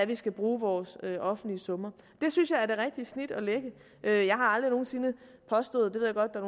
vi skal bruge vores offentlige summer det synes jeg er det rigtige snit at lægge jeg jeg har aldrig nogen sinde påstået